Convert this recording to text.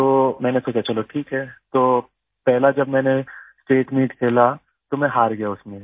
तो मैंने सोचा चलो ठीक है तो पहला जब मैंने स्टेट मीत खेला तो मैं हार गया उसमें